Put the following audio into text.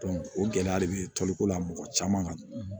o gɛlɛya de bɛ toliko la mɔgɔ caman kan